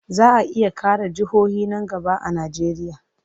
Za a iya ƙara jihohi nan gaba a Najeriya.